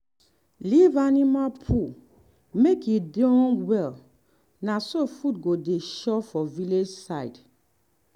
allow dat black black humus enter ground well well so plants fit grow fine.